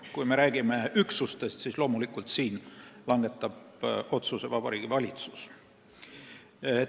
Kui me räägime üksustest, siis langetab otsuse loomulikult Vabariigi Valitsus.